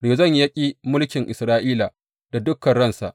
Rezon ya ƙi mulkin Isra’ila da dukan ransa.